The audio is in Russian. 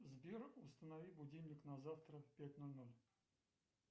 сбер установи будильник на завтра в пять ноль ноль